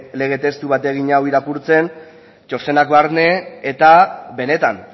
lege testu bategin hau irakurtzen txostenak barne eta benetan